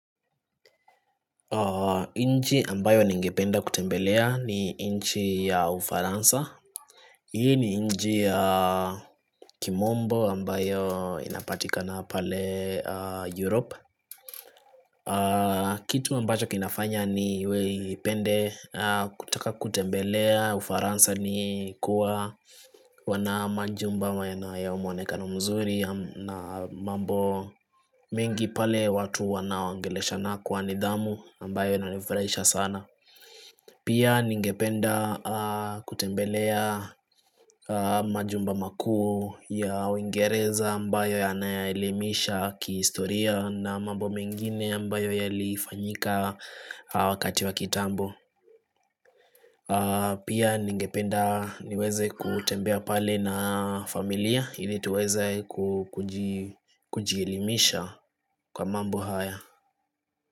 Inji ambayo ningependa kutembelea ni inchi ya ufaransa. Hii ni inji ya kimombo ambayo inapatika na pale Europe. Kitu ambacho kinafanya ni weipende kutaka kutembelea ufaransa ni kuwa wanamanji umbama ya umu wanekano mzuri na mambo mingi pale watu wanawangelesha nakuwa nidhamu ambayo nanifraisha sana. Pia ningependa kutembelea majumba makuu ya uingereza ambayo ya anayailimisha kistoria na mambo mengine ambayo ya lifanyika wakati wa kitambo Pia ningependa niweze kutembea pale na familia ili tuweze kujilimisha kwa mambo haya.